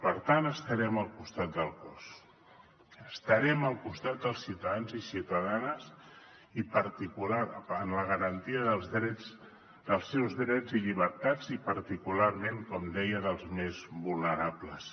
per tant estarem al costat del cos estarem al costat dels ciutadans i ciutadanes i per la garantia dels seus drets i llibertats i particularment com deia dels dels més vulnerables